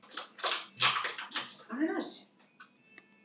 Hann lokaði augunum en glennti þau síðan upp aftur.